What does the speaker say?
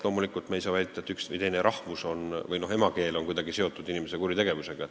Loomulikult ei saa me väita, nagu üks või teine rahvus või emakeel oleks kuidagi seotud kuritegevusega.